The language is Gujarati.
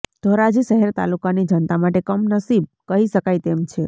ધોરાજી શહેર તાલુકાની જનતા માટે કમનસીબ કહી શકાય તેમ છે